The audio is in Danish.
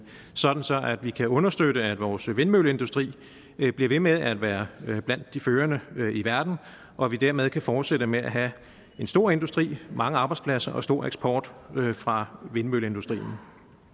sådan sådan at vi kan understøtte at vores vindmølleindustri bliver ved med at være blandt de førende i verden og at vi dermed kan fortsætte med at have en stor industri mange arbejdspladser og stor eksport fra vindmølleindustrien